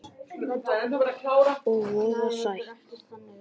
Og voða sætt.